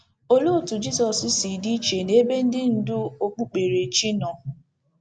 Olee otú Jizọs si dị iche n’ebe ndị ndú okpukperechi nọ?